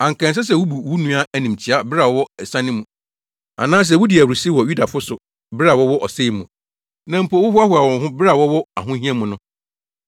Anka ɛnsɛ sɛ wubu wo nua animtiaa bere a ɔwɔ asiane mu, anaa sɛ wudi ahurusi wɔ Yudafo so bere a wɔwɔ ɔsɛe mu, na mpo wohoahoa wo ho bere a wɔwɔ ahohia mu no.